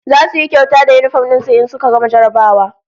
Zasu yi kyauta da yinifom din su in suka gama jarrabawa